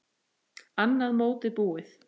Annað mótið búið!